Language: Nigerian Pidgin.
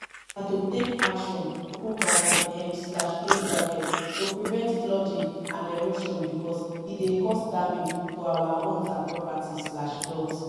na to take action um to prevent flooding and erosion because e dey cause damage to our homes and properties.